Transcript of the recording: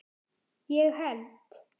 ég held